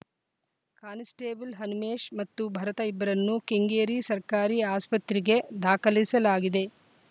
constable Hanumesh ಮತ್ತು ಭರತ ಇಬ್ಬರನ್ನೂ ಕೆಂಗೇರಿ ಸರಕಾರಿ ಆಸ್ಪತ್ರೆಗೆ ದಾಖಲಿಸಲಾಗಿದೆ